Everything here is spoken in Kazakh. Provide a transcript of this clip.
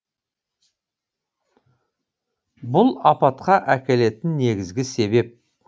бұл апатқа әкелетін негізгі себеп